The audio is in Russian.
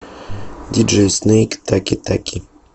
диджей снэйк таки таки